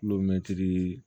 Kulomɛtiri